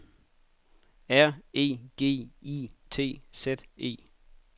R E G I T Z E